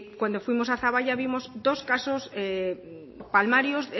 cuando fuimos a zaballa vimos dos casos palmarios